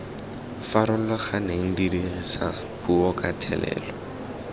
farologaneng dirisa puo ka thelelo